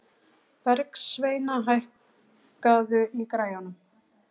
Bergsveina, hækkaðu í græjunum.